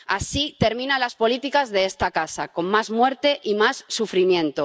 Así terminan las políticas de esta casa, con más muerte y más sufrimiento.